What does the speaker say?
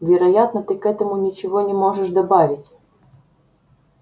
вероятно ты к этому ничего не можешь добавить